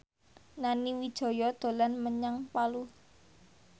Nani Wijaya dolan menyang Palu